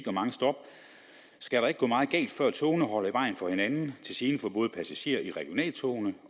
og mange stop skal der ikke gå meget galt før togene holder i vejen for hinanden til gene for både passagerer i regionaltogene